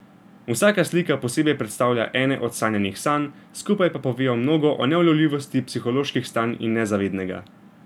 Vsaka slika posebej predstavlja ene od sanjanih sanj, skupaj pa povejo mnogo o neulovljivosti psiholoških stanj in nezavednega.